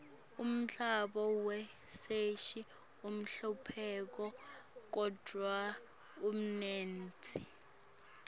umdlalo wechess uqahlupha kodruh umnendti